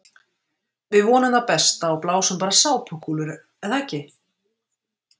Við vonum það besta og blásum bara sápukúlur er það ekki?